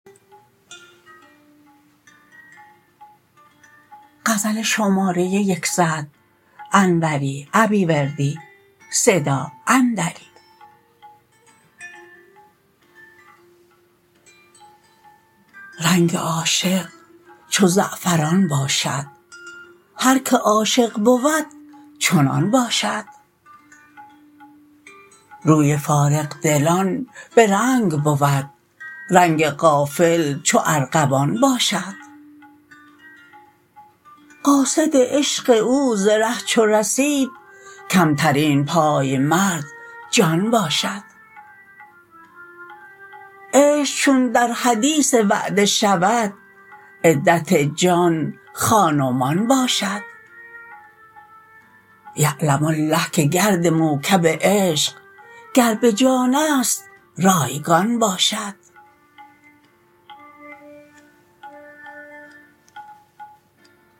رنگ عاشق چو زعفران باشد هرکه عاشق بود چنان باشد روی فارغ دلان به رنگ بود رنگ غافل چو ارغوان باشد قاصد عشق او ز ره چو رسید کمترین پایمرد جان باشد عشق چون در حدیث وعده شود عدت جان خان و مان باشد یعلم الله که گرد موکب عشق گر به جانست رایگان باشد